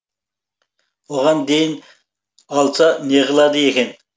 оған дейін алса неғылады екен